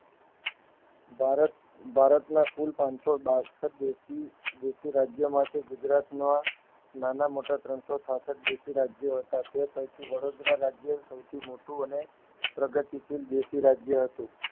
ભારત ભારતના કુલ પાનસો બાસઠ દેશી દેશી રાજ્યો માટે ગુજરાત ના નાના મોટા ત્રણસો છાસઠ દેશી રાજ્યો હતા તે પૈકી વડોદરા રાજય સૌથી મોટું અને પ્રગતિ સીલ દેશી રાજય હતું.